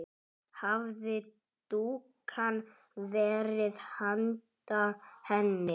Hafði dúkkan verið handa henni?